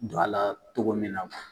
Don a la tɔgɔ min na.